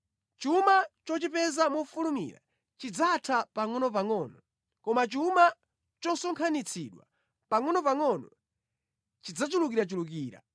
Chuma chochipeza mofulumira chidzatha pangʼonopangʼono koma chuma chosonkhanitsidwa pangʼonopangʼono chidzachulukirachulukira.